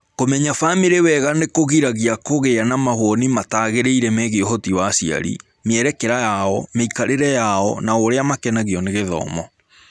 Kũmenya famĩlĩ wega nĩ kũgiragia kũgĩa na mawoni matagĩrĩire megiĩ ũhoti wa aciari, mĩerekera yao, mĩikarĩre yao, na ũrĩa makenagio nĩ gĩthomo.